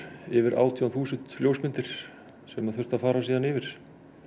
yfir átján þúsund ljósmyndir sem þurfti að fara yfir